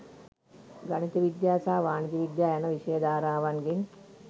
ගණිත විද්‍යා සහ වාණිජ යන විෂය ධාරාවන්ගෙන්